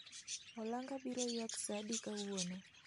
olanga biro ywak saa adi kawuono